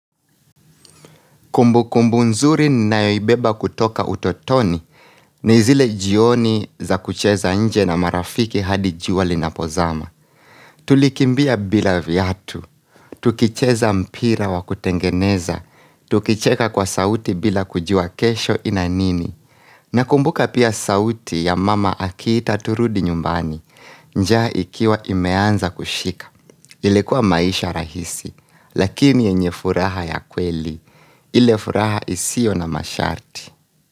Kumbukumbu nzuri ninayoibeba kutoka utotoni ni zile jioni za kucheza nje na marafiki hadi jua linapozama. Tulikimbia bila viatu, tukicheza mpira wa kutengeneza, tukicheka kwa sauti bila kujua kesho ina nini. Nakumbuka pia sauti ya mama akiita turudi nyumbani, njaa ikiwa imeanza kushika. Yalikuwa maisha rahisi, lakini yenye furaha ya kweli, ile furaha isiyo na masharti.